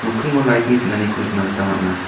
nokkingo lait ni ching·aniko nikna gita man·a.